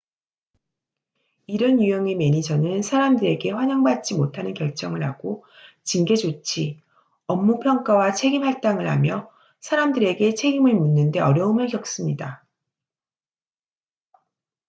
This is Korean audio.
이런 유형의 매니저는 사람들에게 환영받지 못하는 결정을 하고 징계 조치 업무 평가와 책임 할당을 하며 사람들에게 책임을 묻는 데 어려움을 겪습니다